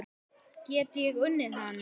Get ég unnið hann?